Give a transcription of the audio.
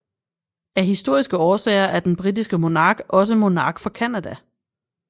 Af historiske årsager er den britiske monark også monark for Canada